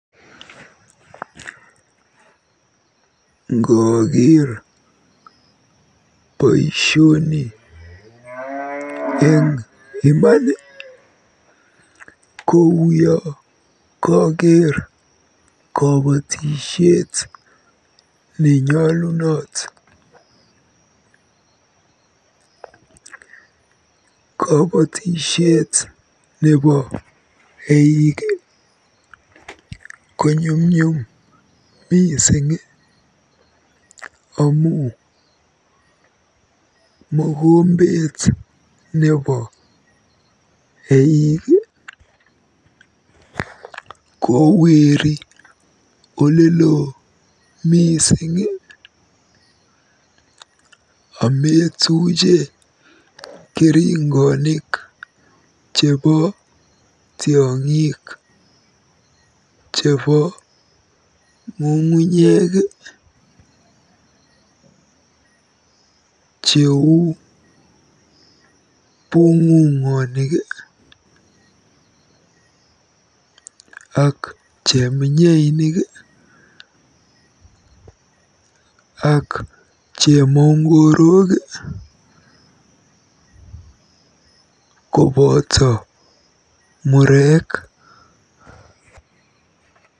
Ngooker boisioni eng iman kouyo kokeer kobotisiet nenyolunot. Kobotisiet nebo eik konyumnyum mising amu mokombet nebo eik koweeri olelo mising ametuuchi keringoik chebo tiong'ik chebo ng'ung'unyek cheu bung'ung'onik ak cheminyeinik ak chemongorok koboto mureek.